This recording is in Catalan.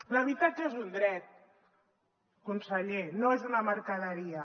l’habitatge és un dret conseller no és una mercaderia